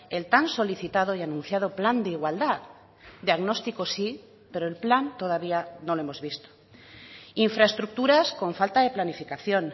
el tan solicitado y anunciado plan de igualdad diagnóstico sí pero el plan todavía no lo hemos visto infraestructuras con falta de planificación